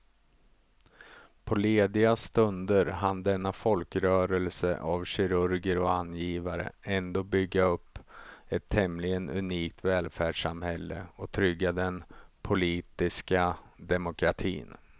På lediga stunder hann denna folkrörelse av kirurger och angivare ändå bygga upp ett tämligen unikt välfärdssamhälle och trygga den politiska demokratin.